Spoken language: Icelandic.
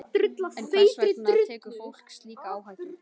En hvers vegna tekur fólk slíka áhættu?